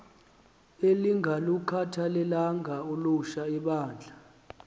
elingalukhathalelanga ulutsha libandla